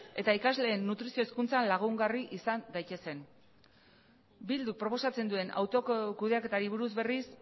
eta ikasleen nutrizio hezkuntza lagungarri izan daitezen eh bilduk proposatzen duen autokudeaketari buruz berriz